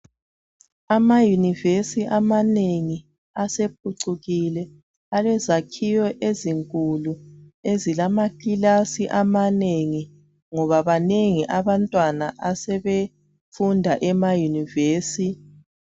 AmaYunivesi amanengi asephucukile, alezakhiwo ezinkulu ezilamakilasi amanengi ngoba banengi abantwana asebefunda emaYunivesi.